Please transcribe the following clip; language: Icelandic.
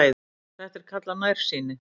Þetta er kallað nærsýni.